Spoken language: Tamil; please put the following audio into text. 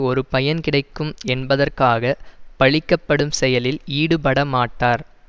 ஒரு பயன் கிடைக்கும் என்பதற்காக பழிக்கப்படும் செயலில் ஈடுபடமாட்டார்